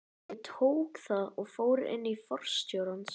Ég tók það og fór inn til forstjórans.